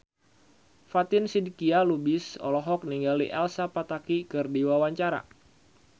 Fatin Shidqia Lubis olohok ningali Elsa Pataky keur diwawancara